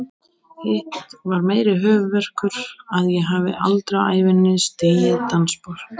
Hitt var meiri höfuðverkur, að ég hafði aldrei á ævinni stigið dansspor.